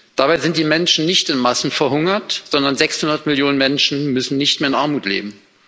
Dabei sind die Menschen nicht in Massen verhungert, sondern 600 Millionen Menschen müssen nicht mehr in Armut leben.